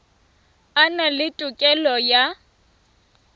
a na le tokelo ya